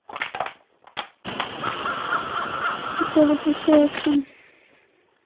тв тысяча экшн